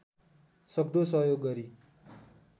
सक्दो सहयोग गरी